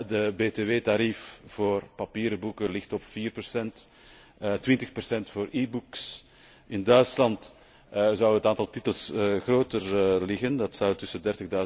Het btw tarief voor papieren boeken ligt op vier procent, op twintig procent voor e books. In Duitsland zou het aantal titels groter zijn, dat zou tussen